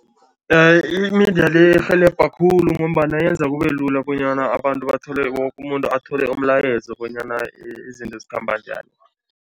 Imidlalo irhelebha khulu ngombana yenza kube lula bonyana abantu bathole, woke umuntu athole umlayezo bonyana izinto zikhamba njani.